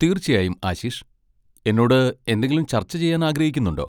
തീർച്ചയായും ആശിഷ്, എന്നോട് എന്തെങ്കിലും ചർച്ച ചെയ്യാൻ ആഗ്രഹിക്കുന്നുണ്ടോ?